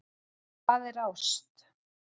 Hvað er ást